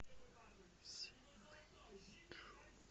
синыйджу